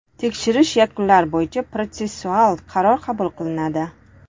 Tekshirish yakunlari bo‘yicha protsessual qaror qabul qilinadi.